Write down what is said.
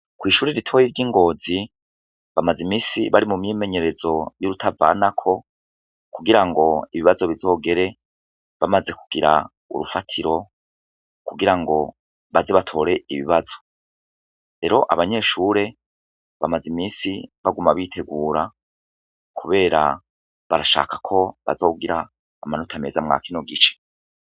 Kw'ishure ritoya ry'ingozi ,bamaze imisi bari mu myimenyerezo y'urutavanako, kugirango ibibazo bizogere bamaze kugira urufatiro, kugirango baze batore ibibazo, rero abanyeshure bamaze imisi baguma bitegura, kubera barashaka ko bazogira amanota meza mwakono gice.